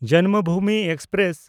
Janmabhoomi express